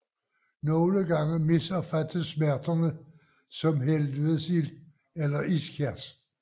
Nogle gange misopfattes smerterne som helvedesild eller ischias